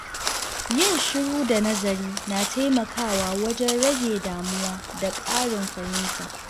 Yin shiru da nazari na taimakawa wajen rage damuwa da ƙarin fahimta.